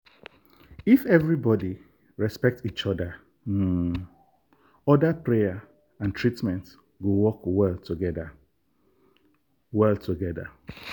if everybody respect each um other prayer and treatment go work well together. well together.